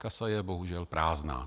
Kasa je bohužel prázdná.